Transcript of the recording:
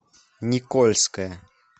никольское